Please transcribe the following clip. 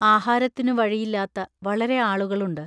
ആഹാരത്തിനു വഴിയില്ലാത്ത വളരെ ആളുകളുണ്ട്.